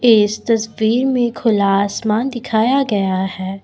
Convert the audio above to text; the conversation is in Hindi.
इस तस्वीर में खुला आसमान दिखाया गया है।